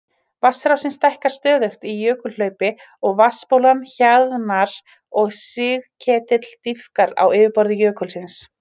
Vatnsrásin stækkar stöðugt í jökulhlaupi og vatnsbólan hjaðnar og sigketill dýpkar á yfirborði jökulsins.